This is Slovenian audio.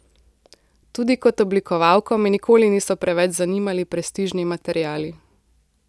Tudi kot oblikovalko me nikoli niso preveč zanimali prestižni materiali.